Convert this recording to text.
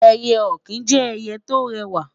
eye okin jẹ ẹyẹ to rẹwa